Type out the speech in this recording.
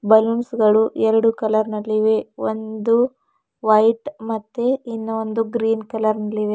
Balloons ಗಳು ಎರಡು colour ನಲ್ಲಿ ಇವೆ ಒಂದು ವೈಟ್ ಮತ್ತೆ ಇನ್ನ ಒಂದು ಗ್ರೀನ್ ಕಲರ್ ನಲ್ಲಿವೆ.